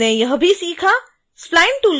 हमने यह भी सीखा